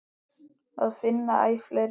Það finna æ fleiri.